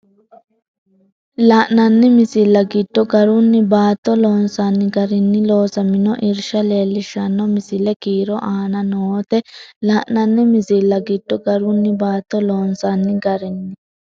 La’inanni misilla giddo garunni baatto loonsanni garinni loosamino irsha leellishshanno misile kiiro aana noote La’inanni misilla giddo garunni baatto loonsanni garinni.